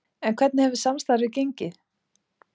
En hvernig hefur samstarfið gengið?